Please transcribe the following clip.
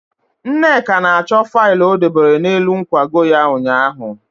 Nneka na-achọ faịlụ o dobere n'elu nkwago ya ụnyaahụ.